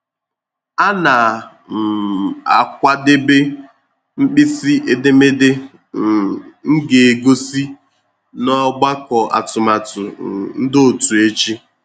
A na um m akwadebe mkpịsị edemede um m ga-egosi n’ọgbakọ atụmatụ um ndị òtù echi.